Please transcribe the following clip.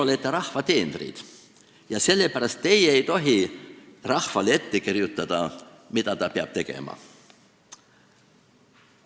Teie olete rahva teenrid ja sellepärast ei tohi teie rahvale ette kirjutada, mida ta tegema peab.